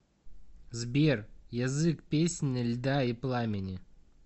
сбер язык песнь льда и пламени